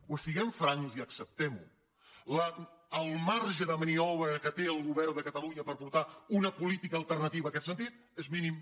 doncs siguem francs i acceptem ho el marge de maniobra que té el govern de catalunya per portar una política alternativa en aquest sentit és mínim